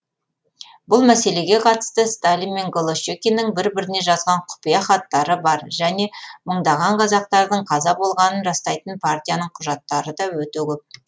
бұл мәселеге қатысты сталин мен голощекиннің бір біріне жазған құпия хаттары бар және мыңдаған қазақтардың қаза болғанын растайтын партияның құжаттары да өте көп